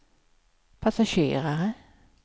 passagerare